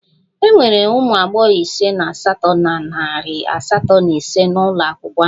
E nwere ụmụ agbọghọ ise na asatọ na narị asatọ na ise n'ụlọ akwụkwọ ahụ